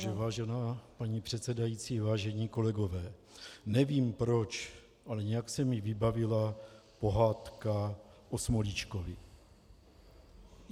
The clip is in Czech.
Takže vážená paní předsedající, vážení kolegové, nevím proč, ale nějak se mi vybavila pohádka O Smolíčkovi.